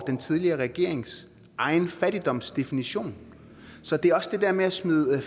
den tidligere regerings egen fattigdomsdefinition så det er også det der med at smide det